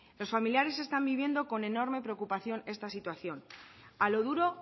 los familiares están viviendo con enorme preocupación esta situación a lo duro